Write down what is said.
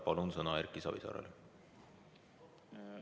Palun sõna Erki Savisaarele!